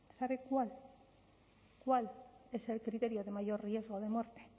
sabe cuál es el criterio de mayor riesgo de muerte